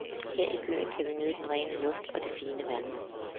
Her i byen kan vi nyde den rene luft og det fine vand.